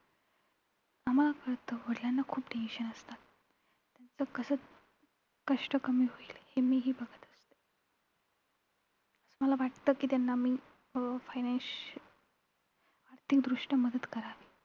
आम्हांला कळतं वडिलांना खूप tensions असतात. त्यांचं कसं कष्ट कमी होईल हे मीही बघत असते. मला वाटतं कि त्यांना मी अं fine financial आर्थिकदृष्ट्या मदत करावी